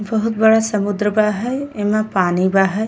बहुत बड़ा समुद्र बा ह। एमे पानी बा हय।